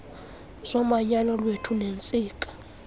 zomanyano lwethu neentsika